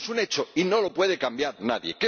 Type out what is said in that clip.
Eso es un hecho y no lo puede cambiar nadie.